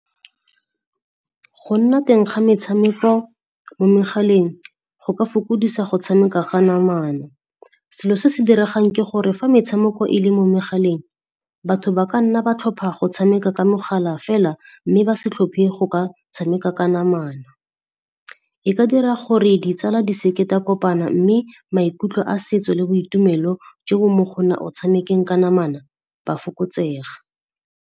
Go nna teng ga metshameko mo megaleng go ka fokodisa go tshameka ga namana. Selo se se diregang ke gore fa metshameko e le mo megaleng, batho ba ka nna ba tlhopha go tshameka ka mogala fela, mme ba se tlhophe go ka tshameka ka namana. E ka dira gore ditsala di seke di a kopana mme maikutlo a setso le boitumelo jo bo mo gona o tshamekeng ka namana, ba fokotsega.